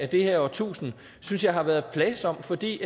det her årtusind synes jeg har været plagsom fordi